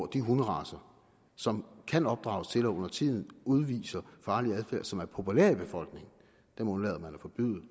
de hunderacer som kan opdrages til og undertiden udviser farlig adfærd og som er populære i befolkningen